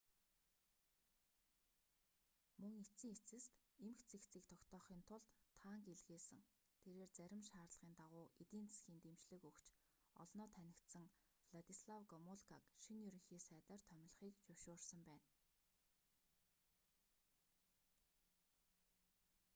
мөн эцсийн эцэст эмх цэгцийг тогтоохын тулд танк илгээсэн тэрээр зарим шаардлагын дагуу эдийн засгийн дэмжлэг өгч олноо танигдсан владислав гомулкаг шинэ ерөнхий сайдаар томилхийг зөвшөөрсөн байна